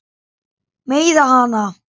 Meiða hana.